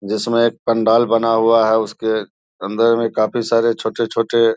जिसमे एक पंडाल बना हुआ हैं उसके अंदर में काफी सारे छोटे-छोटे --